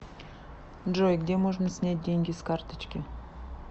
джой где можно снять деньги с карточки